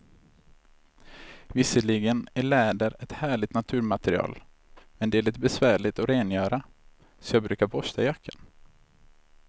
Visserligen är läder ett härligt naturmaterial, men det är lite besvärligt att rengöra, så jag brukar borsta jackan.